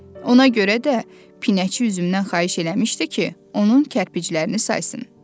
Ona görə də pinəçi üzümdən xahiş eləmişdi ki, onun kərpiclərini saysın.